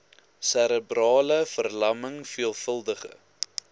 serebrale verlamming veelvuldige